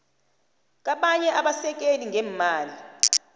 kabanye abasekeli ngeemali